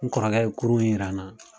N kɔrɔkɛ ye kurun in yira n na.